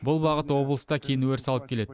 бұл бағыт облыста кең өріс алып келеді